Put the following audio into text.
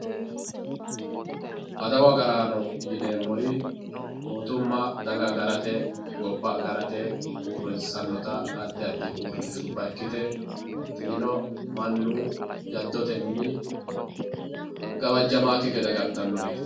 adawu agaraano yineemmo woyiite daga agarate gobba agarate uurrissannota addi addi uurrinshabba ikkite mannu jaddotenni gawajjitannokki gede agartannoreeti.